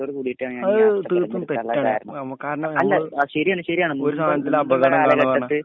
അത് തീർത്തുംതെറ്റാണു ഞമ്മക്ക് കാരണം